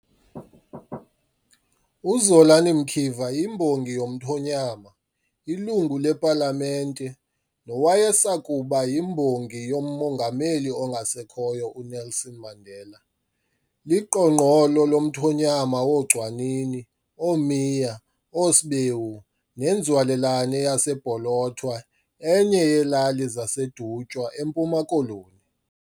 UZolani Mkiva yimbongi yomthonyama, iLungu lePalamente, nowayesakuba yiMbongi yoMongameli ongasekhoyo, uNelson Mandela. Liqongqolo lomthonyama wooGcwanini, ooMiya, ooSbewu, nenzalelwane yaseBholothwa, enye yeelali zaseDutywa, eMpuma Koloni.